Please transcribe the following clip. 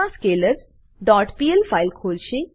મા scalars dot PL file ખોલશે